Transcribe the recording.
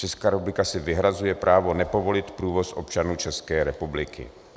Česká republika si vyhrazuje právo nepovolit průvoz občanů České republiky."